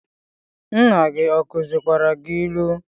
Nna gi ọ kuzikwara gi ilu?